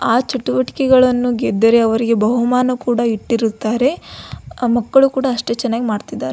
ಆ ಚಟುವಟಿಕೆಗಳನ್ನು ಗೆದ್ದರೆ ಅವರಿಗೆ ಬಹುಮಾನ ಕೂಡ ಇಟ್ಟಿರುತ್ತಾರೆ ಮಕ್ಕಳು ಕೂಡ ಅಷ್ಟೇ ಚನ್ನಾಗಿ ಮಾಡತ್ತಿದ್ದಾರೆ.